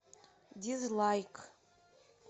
дизлайк